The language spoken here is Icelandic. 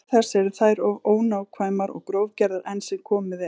Til þess eru þær of ónákvæmar og grófgerðar enn sem komið er.